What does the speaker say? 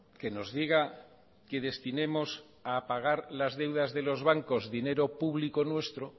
que nos diga que destinemos a pagar las deudas de los bancos dinero público nuestro